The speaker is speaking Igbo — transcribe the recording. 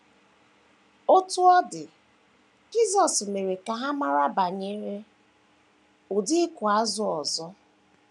Otú ọ dị, Jisọs mere ka ha mara banyere ụdị ịkụ azụ̀ ọzọ.